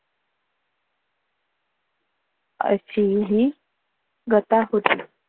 असी ही गथा होती.